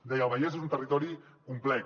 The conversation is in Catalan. deia el vallès és un territori complex